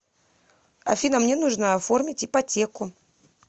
афина мне нужно оформить ипотеку